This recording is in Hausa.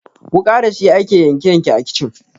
Wuƙa dashi ake yanke yanke a kicin.